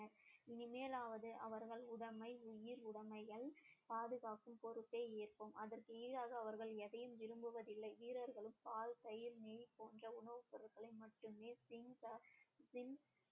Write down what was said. இனிமேலாவது அவர்கள் உடைமை உயிர் உடமைகள் பாதுகாப்பு பொறுப்பை ஏற்கும் அதற்கு ஈடாக அவர்கள் எதையும் விரும்புவதில்லை வீரர்களும் பால் தயிர் நெய் போன்ற உணவுப் பொருட்களை மட்டுமே